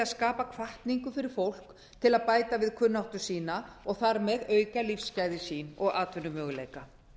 skapa hvatningu fyrir fólk til að bæta við kunnáttu sína og þar með auka lífsgæði sín og atvinnumöguleika